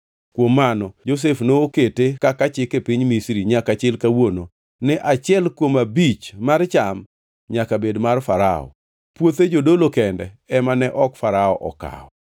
Kuom mano Josef nokete kaka chik e piny Misri nyaka chil kawuono, ni achiel kuom abich mar cham nyaka bed mar Farao. Puothe jodolo kende ema ne ok Farao okawo.